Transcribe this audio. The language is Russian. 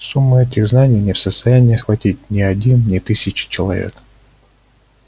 сумму этих знаний не в состоянии охватить ни один ни тысяча человек